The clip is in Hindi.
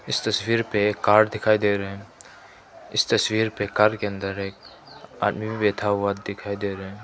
इस तस्वीर पे एक कार दिखाई दे रहे हैं इस तस्वीर पे कार के अंदर एक आदमी भी बैठा हुआ दिखाई दे रहा है।